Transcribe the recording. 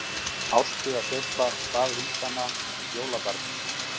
Árstíðasveifla staðvindanna- jólabarnið